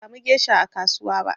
Jiya ban sa mu gesha a kasuwa ba